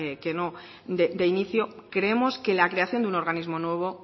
que no de inicio creemos que la creación de un organismo nuevo